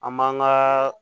An m'an ka